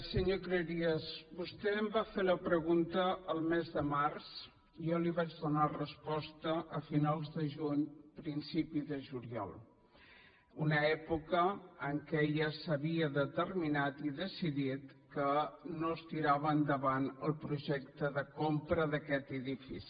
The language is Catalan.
senyor cleries vostè em va fer la pregunta el mes de març i jo li vaig donar resposta a finals de juny principi de juliol una època en què ja s’havia determinat i decidit que no es tirava endavant el projecte de compra d’aquest edifici